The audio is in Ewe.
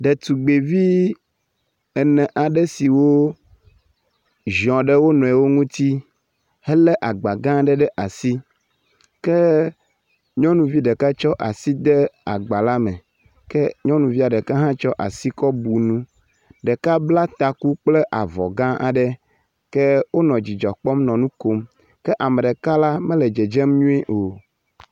Ɖetugbivi ene aɖe siwo ziɔ ɖe wo nɔewo ŋuti helé agba gã aɖe ɖe asi ke nyɔnuvi ɖeka tsɔ asi de agba la me ke nyɔnuvia ɖeka hã tsɔ asi kɔ bu nu. Ɖeka bla taku kple avɔ gã aɖe. Ke wonɔ dzidzɔ kpɔm nɔ nu kom ke ame ɖeka la mele dzedzem nyuie o